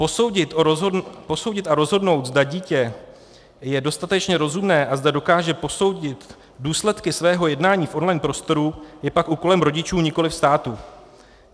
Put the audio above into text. Posoudit a rozhodnout, zda dítě je dostatečně rozumné a zda dokáže posoudit důsledky svého jednání v on-line prostoru, je pak úkolem rodičů, nikoliv státu.